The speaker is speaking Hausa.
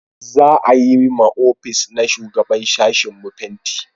za a yi ma ofis na shugaban sashin mu fenti